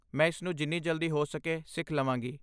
ਮੈਂ ਇਸਨੂੰ ਜਿੰਨੀ ਜਲਦੀ ਹੋ ਸਕੇ ਸਿੱਖ ਲਵਾਂਗੀ।